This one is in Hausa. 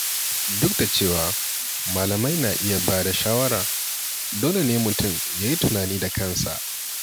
Duk da cewa malamai na iya ba da shawara, dole ne mutum ya yi tunani da kansa.